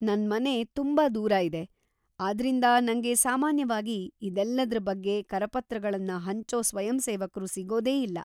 ನನ್ಮನೆ ತುಂಬಾ ದೂರ ಇದೆ, ಆದ್ರಿಂದ ನಂಗೆ ಸಾಮಾನ್ಯವಾಗಿ ಇದೆಲ್ಲದ್ರ ಬಗ್ಗೆ ಕರಪತ್ರಗಳನ್ನ ಹಂಚೋ ಸ್ವಯಂಸೇವಕ್ರು ಸಿಗೋದೇ ಇಲ್ಲ.